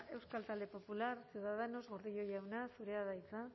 euskal talde popular ciudadanos gordillo jauna zurea da hitza